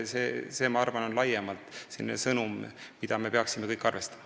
Ma arvan, et see on laiem sõnum, millega me kõik peaksime arvestama.